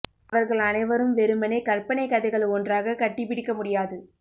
அவர்கள் அனைவரும் வெறுமனே கற்பனை கதைகள் ஒன்றாக கட்டி பிடிக்க முடியாது